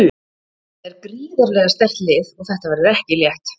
Þetta er gríðarlega sterkt lið og þetta verður ekki létt.